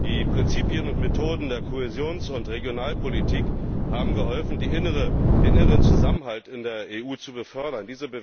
Die Prinzipien und Methoden der Kohäsions und Regionalpolitik haben geholfen, den inneren Zusammenhalt in der EU zu befördern.